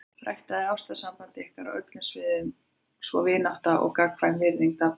Ræktið ástarsamband ykkar á öllum sviðum svo vinátta og gagnkvæm virðing dafni.